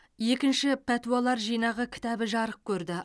екінші пәтуалар жинағы кітабы жарық көрді